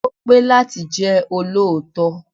Ó pé láti jẹ́ olóòótọ́.